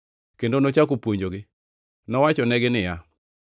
kendo nochako puonjogi. Nowachonegi niya,